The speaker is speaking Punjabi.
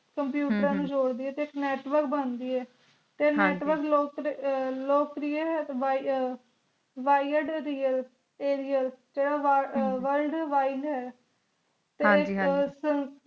computer ਹਮ ਨੂ ਜੋਰ ਦੇ ਟੀ ਇਕ natural ਟੀ ਹਨ ਜੀ